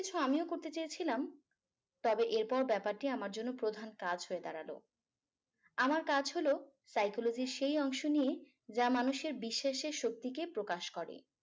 কিছু আমিও করতে চেয়েছিলাম তবে এরপর ব্যাপারটি আমার জন্য প্রধান কাজ হয়ে দাঁড়ালো আমার কাজ হলো psychology এর সেই অংশ নিয়ে যা মানুষের বিশ্বাসের শক্তিকে প্রকাশ করে